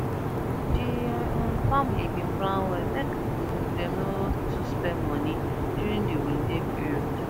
the um family bin plan well make um dem no too spend money during the holiday period